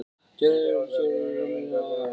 Gerði eftir að Sigurður Guðmundsson kemur frá Höfn.